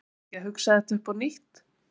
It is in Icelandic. Verðum við ekki að hugsa þetta upp á nýtt?